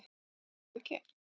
Er það ekki